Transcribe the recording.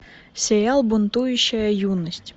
сериал бунтующая юность